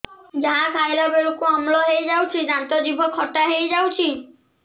ଯାହା ଖାଇଲା ବେଳକୁ ଅମ୍ଳ ହେଇଯାଉଛି ଦାନ୍ତ ଜିଭ ଖଟା ହେଇଯାଉଛି